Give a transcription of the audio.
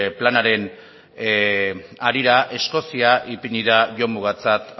planaren harira eskozia ipini da jomugatzat